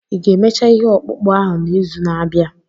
Ị ga-emecha ihe ọkpụkpụ ahụ n'izu na-abịa?